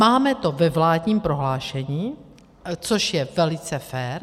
Máme to ve vládním prohlášení, což je velice fér.